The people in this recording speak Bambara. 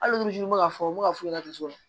Hali n bɛ ka fɔ n bɛ ka fu laturu sɔrɔ